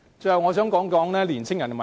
最後，我想談年青人的問題。